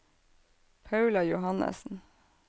Paula Johannessen